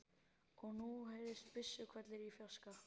Og nú heyrðust byssuhvellir í fjarska.